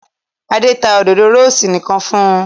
Adé ta òdòdó rósì nìkan fún un.